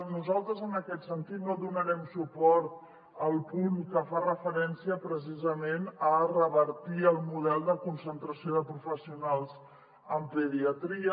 nosaltres en aquest sentit no donarem suport al punt que fa referència precisament a revertir el model de concentració de professionals en pediatria